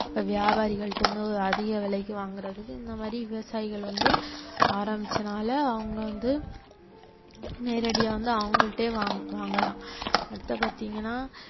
இப்ப வியாபாரிகள் கிட்ட இருந்து அதிக விலைக்கு வாங்கறதுக்கு இந்த மாதிரி விவசாயிகள் வந்து ஆரம்பிச்சதனால அவங்க வந்து நேரடியா வந்து அவங்கள்ட்டயே வாங்~ வாங்கலாம் அடுத்தது பாத்தீங்கன்னா